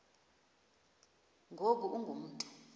ngoku ungu mntu